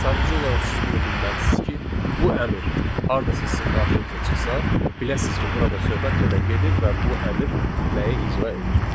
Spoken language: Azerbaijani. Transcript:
Sadəcə olaraq siz bunu bilməlisiniz ki, bu əmr hardasa sizin qarşınıza çıxsa, biləsiniz ki, burada söhbət nədən gedir və bu əmr nəyi icra edir.